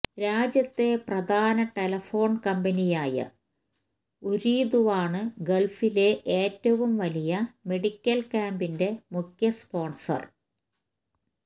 രാജ്യത്തെ പ്രധാന ടെലിഫോൺ കമ്പനിയായ ഉരീദുവാണ് ഗള്ഫിലെ ഏറ്റവും വലിയ മെഡിക്കല് ക്യാമ്പിന്റെ മുഖ്യ സ്പോണ്സര്